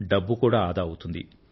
డబ్బు కూడా ఆదా అవుతుంది